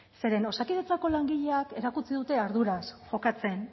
zeren osakidetzako langileek erakutsi dute arduraz jokatzen